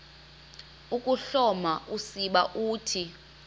ukuhloma usiba uthi